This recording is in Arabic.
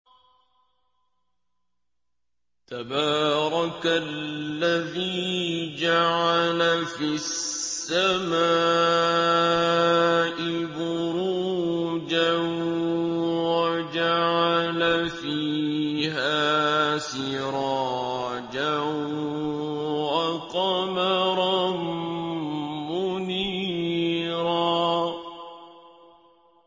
تَبَارَكَ الَّذِي جَعَلَ فِي السَّمَاءِ بُرُوجًا وَجَعَلَ فِيهَا سِرَاجًا وَقَمَرًا مُّنِيرًا